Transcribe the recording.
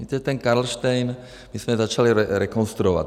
Víte, ten Karlštejn my jsme začali rekonstruovat.